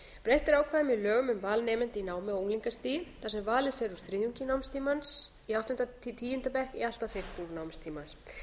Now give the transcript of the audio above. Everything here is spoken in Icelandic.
breytt er ákvæðum í lögunum um val nemenda í námi á unglingastigi þar sem valið fer úr þriðjungi námstímans í áttunda til tíunda bekk í allt að fimmtung námstímans